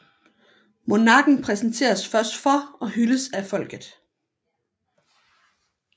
Monarken præsenteres først for og hyldes af folket